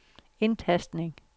indtastning